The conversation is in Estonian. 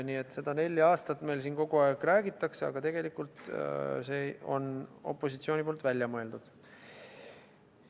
Nii et seda nelja aastat meil siin kogu aeg räägitakse, aga tegelikult on see opositsiooni välja mõeldud.